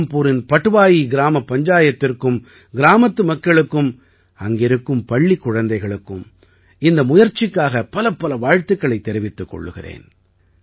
ராம்புரின் பட்வாயி கிராமப் பஞ்சாயத்திற்கும் கிராமத்து மக்களுக்கும் அங்கிருக்கும் பள்ளிக் குழந்தைகளுக்கும் இந்த முயற்சிக்காக பலப்பல வாழ்த்துக்களைத் தெரிவித்துக் கொள்கிறேன்